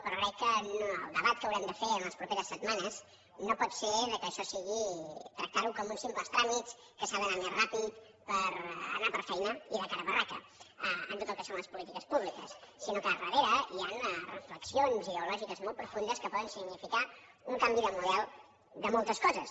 però crec que el debat que haurem de fer en les properes setmanes no pot ser que això sigui tractar ho com uns simples tràmits que s’ha d’anar més ràpid per anar per feina i de cara a barraca en tot el que son les polítiques públiques sinó que al darrere hi han reflexions ideològiques molt profundes que poden significar un canvi de model de moltes coses